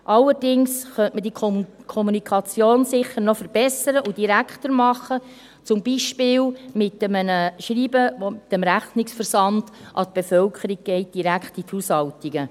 Allerdings könnte man diese Kommunikation sicher noch verbessern und direkter machen, zum Beispiel mit einem Schreiben mit dem Rechnungsversand direkt in die Haushaltungen.